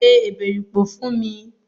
Se èbèripò fún mi!